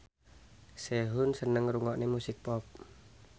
Sehun seneng ngrungokne musik pop